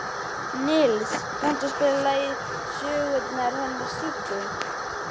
Nils, kanntu að spila lagið „Söngurinn hennar Siggu“?